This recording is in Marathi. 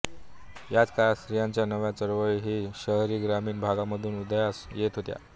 याच काळात स्त्रियांच्या नव्या चळवळी हि शहरीग्रामीण भागामधून उदयास येत होत्या